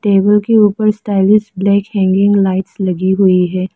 Table के ऊपर stylish black hanging lights लगी हुई है।